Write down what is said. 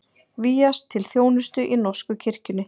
Vígjast til þjónustu í norsku kirkjunni